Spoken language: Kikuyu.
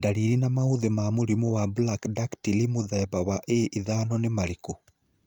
Ndariri na maũthĩ ma mũrimũ wa Brachydactyly mũthemba wa A5 nĩ marĩkũ?